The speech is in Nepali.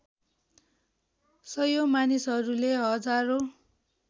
सयौँ मानिसहरूले हजारौँ